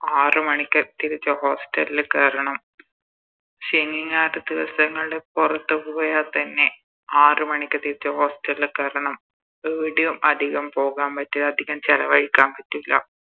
ആറ് മണിക്ക് തിരിച്ച് Hostel ല് കേരണം ശനി ഞായർ ദിവസങ്ങളില് പൊറത്ത് പോയ തന്നെ ആറ് മണിക്ക് തിരിച്ച് Hostel ല് കേറണം എടേയും അധികം പാകാൻ പറ്റൂല അധികം ചെലവയിക്കാൻ പറ്റൂല